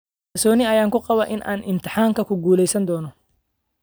Kalsooni ayaan ku qabaa in aan imtixaanka ku guulaysan doono